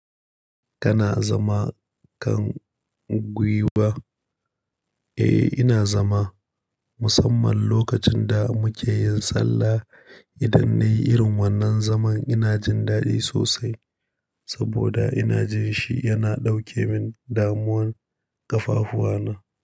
Kana zama kan guiwa? Eh ina zama, musamman lokacin da muke yin sallah. Idan na yi irin wannan zaman ina jin daɗi sosai saboda ina jin shi yana ɗauke min damuwan ƙafafuwana.